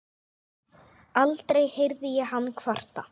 Aldrei heyrði ég hann kvarta.